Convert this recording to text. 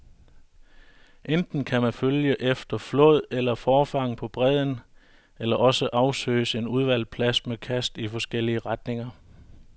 Enten kan man følge efter flåd eller forfang på bredden, eller også afsøges en udvalgt plads med kast i forskellige retninger.